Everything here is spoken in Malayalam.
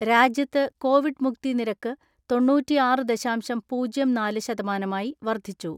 രാജ്യത്ത് കോവിഡ് മുക്തി നിരക്ക് തൊണ്ണൂറ്റിആറ് ദശാംശം പൂജ്യം നാല് ശതമാനമായി വർദ്ധിച്ചു.